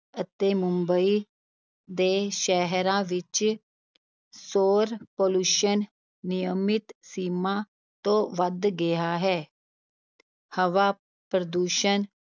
ਅਤੇ ਮੁੰਬਈ ਦੇ ਸ਼ਹਿਰਾਂ ਵਿਚ ਸੋਰ Pollution ਨਿਯਮਿਤ ਸੀਮਾ ਤੋ ਵੱਧ ਗਿਆ ਹੈ ਹਵਾ ਪ੍ਰਦੂਸ਼ਣ